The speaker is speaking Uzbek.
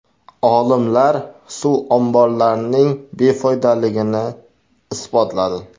Olimlar suv omborlarining befoydaligini isbotladi.